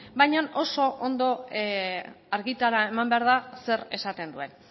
baina oso ondo argitara eman behar da zer esaten duen